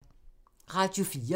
Radio 4